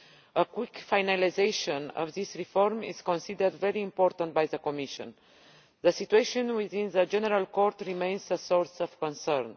A quick finalisation of this reform is considered very important by the Commission. The situation within the General Court remains a source of concern.